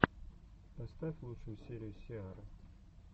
поставь лучшую серию сиары